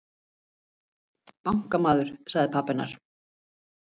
Bankamaður, sagði pabbi hennar.